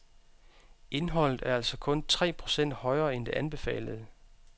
Indholdet er altså kun tre procent højere end det anbefalede.